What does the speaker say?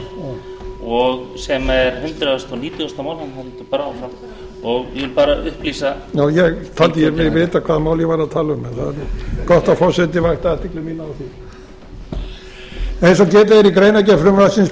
þannig að það heldur bara áfram ég vil bara upplýsa já ég taldi mig vita hvaða mál ég var að tala um en það er gott að fá athygli mína á því eins og getið er í greinargerð frumvarpsins boðaði